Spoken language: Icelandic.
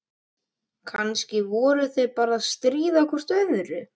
Kannski voru þau bara að stríða hvort öðru.